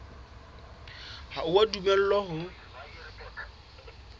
ha o a dumellwa ho